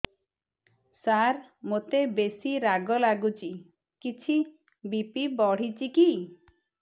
ସାର ମୋତେ ବେସି ରାଗ ଲାଗୁଚି କିଛି ବି.ପି ବଢ଼ିଚି କି